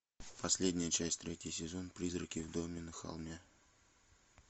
последняя часть третий сезон призраки в доме на холме